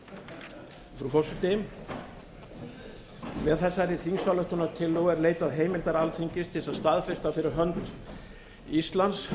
frú forseti með þessari þingsályktunartillögu er leitað heimildar alþingis til að staðfesta fyrir hönd íslands